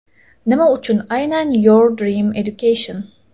Nima uchun aynan Your Dream Education?